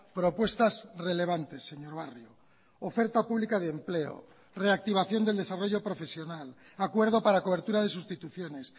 propuestas relevantes señor barrio oferta pública de empleo reactivación del desarrollo profesional acuerdo para cobertura de sustituciones